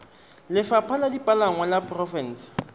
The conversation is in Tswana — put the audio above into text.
lefapha la dipalangwa la porofense